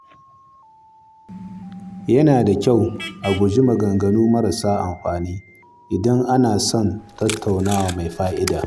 Yana da kyau a guji yin maganganu marasa amfani idan ana son tattaunawa mai fa’ida.